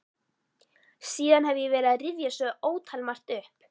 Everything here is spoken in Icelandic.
Síðan hef ég verið að rifja svo ótalmargt upp.